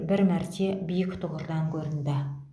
бір мәрте биік тұғырдан көрінді